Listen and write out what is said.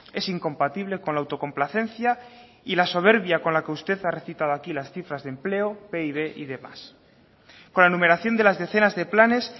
es incompatible con la autocomplacencia y la soberbia con la que usted ha recitado aquí las cifras de empleo pib y demás con la enumeración de las decenas de planes